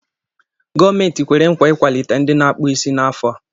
Gọọmenti kwere nkwa ị ikwalite ndị na-akpụ isí n'afọ a.